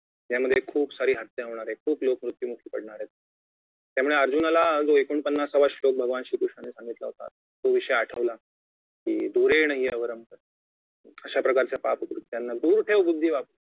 यामध्ये खूप सारी हत्या होणार आहे खूप लोक मृत्युमुखी पडणार आहेत त्यामुळे अर्जुनाला जो एकोणपन्नासाव्वा श्लोक जो भगवान श्री कृष्णांनी सांगितला होता तो विषय आठवला कि दुरेंनहि अवर्रम अशाप्रकारच्या पाप कृत्यांना दूर ठेव बुद्धी वापरुन